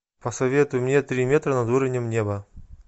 посоветуй мне три метра над уровнем неба